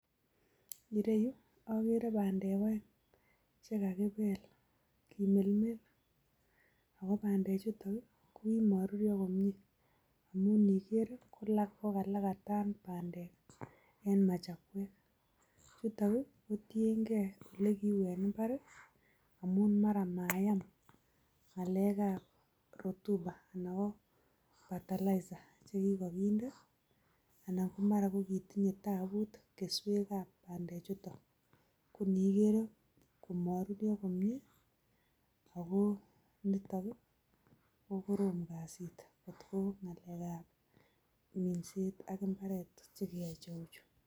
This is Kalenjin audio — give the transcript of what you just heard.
Ireyu ogere bandek oeng che kakibel kimelmel. Agobandechu kogimoruryo komye kinyolilyo kokalakatan bandek en machakweg. Chuton ko tienge ole kiu en mbar amun mara mayam ng'alekab rotuba anan ko fertilizer che kigokinde anan komara kitinye tabut keswekab bandechuto. Koniigere komoruryo komye ago nito ko korom kasit kotko ngalekab minset ak imbaret che kiyoe cheu chu.